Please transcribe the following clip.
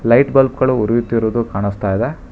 Light bulb ಗಳು ಉರಿಯುತ್ತಿರುವುದು ಕಾಣಿಸ್ತಾ ಇದೆ.